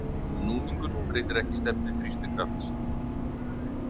Núningur breytir ekki stefnu þrýstikrafts.